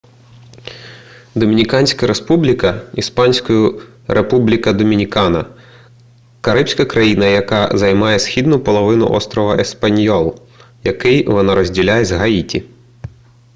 домініканська республіка ісп. república dominicana — карибська країна яка займає східну половину острова еспаньйол який вона розділяє з гаїті